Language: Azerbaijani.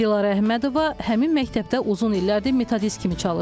Dilarə Əhmədova həmin məktəbdə uzun illərdir metodist kimi çalışır.